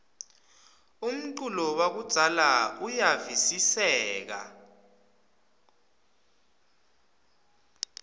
umculo wakudzala uyavistseka